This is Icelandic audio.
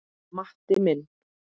Matti minn.